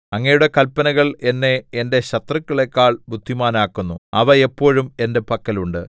അങ്ങയുടെ കല്പനകൾ എന്നെ എന്റെ ശത്രുക്കളെക്കാൾ ബുദ്ധിമാനാക്കുന്നു അവ എപ്പോഴും എന്റെ പക്കൽ ഉണ്ട്